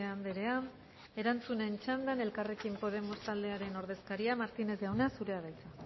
andrea erantzuten txandan elkarrekin podemos taldearen ordezkaria martinez jauna zurea da hitza